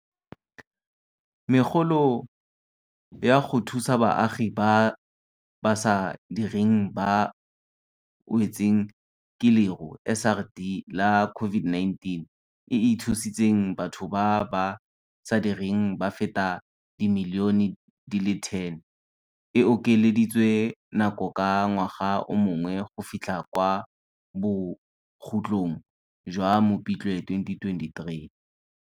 Megolo ya go Thusa Baagi ba ba sa Direng ba ba Wetsweng ke Leru, SRD, la COVID-19, e e thusitseng batho ba ba sa direng ba feta dimilione di le 10, e okeleditswe nako ka ngwaga o mongwe go fitlha kwa bokhutlong jwa Mopitlwe 2023.